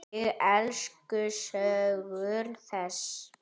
Ég elska sögur þess.